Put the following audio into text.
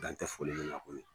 Dan tɛ foli min na.